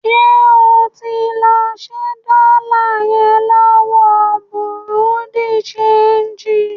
Ṣé o tí ń lọ ṣẹ́ dọ́lá yẹn lọ́wọ bùrúdì ṣeègì?